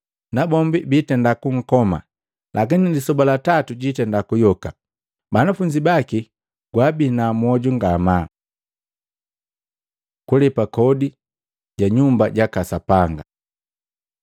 nabombi biitenda kunkoma lakini lisoba la tatu jwiitenda kuyoka.” Banafunzi baki gwaabina mwoju ngamaa. Kulepa kodi ja Nyumba jaka Sapanga